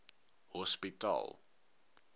hospitaal